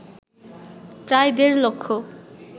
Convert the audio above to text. প্রায় দেড় লক্ষ